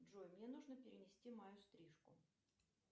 джой мне нужно перенести мою стрижку